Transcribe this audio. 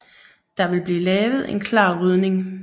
Der vil blive lavet en klar rydning